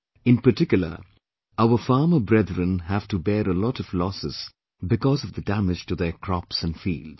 In particular, our Farmer brethren have to bear a lot of losses because of the damage to their crops and fields